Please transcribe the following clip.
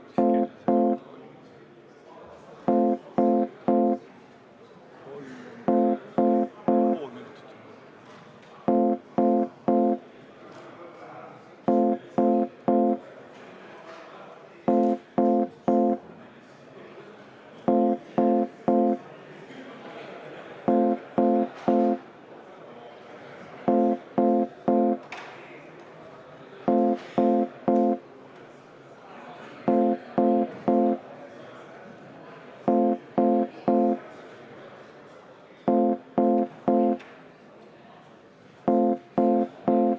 Paneme hääletusele Sotsiaaldemokraatliku Erakonna fraktsiooni ettepaneku Eesti Keskerakonna fraktsiooni, Eesti Konservatiivse Rahvaerakonna fraktsiooni ja Isamaa fraktsiooni algatatud ravimiseaduse muutmise seaduse eelnõu 118 esimesel lugemisel tagasi lükata.